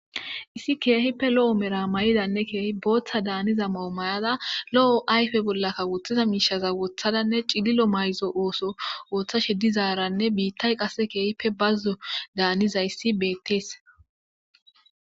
issi keehippe lo7o mera ma7idanne keehi booththa daaniza mawo mayada lo7o ayfe bollakka woththiza miishaza wothadanne cililo mayzo ooso ooththashe dizaaranne biittay qasse keehippe bazzo daanizayssi beettees